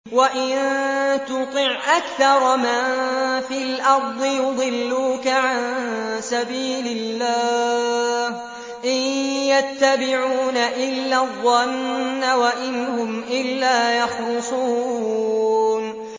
وَإِن تُطِعْ أَكْثَرَ مَن فِي الْأَرْضِ يُضِلُّوكَ عَن سَبِيلِ اللَّهِ ۚ إِن يَتَّبِعُونَ إِلَّا الظَّنَّ وَإِنْ هُمْ إِلَّا يَخْرُصُونَ